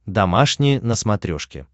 домашний на смотрешке